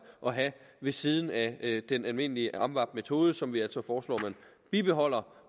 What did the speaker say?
at have ved siden af den almindelige amvab metode som vi altså foreslår bibeholdes